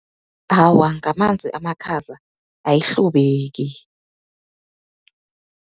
Awa, ngamanzi amakhaza ayihlubeki.